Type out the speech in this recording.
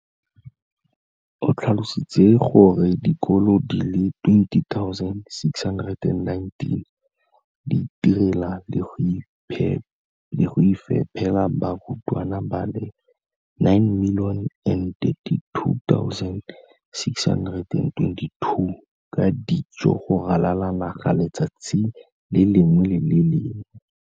O tlhalositse gore dikolo di le 20 619 di itirela le go iphepela barutwana ba le 9 032 622 ka dijo go ralala naga letsatsi le lengwe le le lengwe.